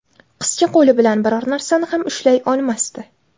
Qizcha qo‘li bilan biror narsani ham ushlay olmasdi.